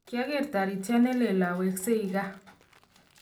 kiaker toritiet neleel awekseii kaa